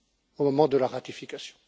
au moment de la ratification.